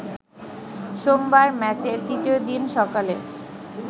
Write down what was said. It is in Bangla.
সোমবার ম্যাচের তৃতীয় দিন সকালে